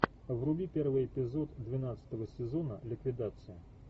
вруби первый эпизод двенадцатого сезона ликвидация